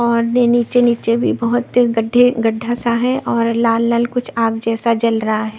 और नीचे नीचे भी बहुत गड्ढे गड्ढा सा है और लाल लाल कुछ आग जैसा जल रहा है।